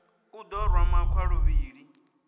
u ḓo rwa makhwa luvhili